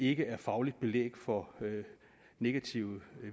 ikke er fagligt belæg for negative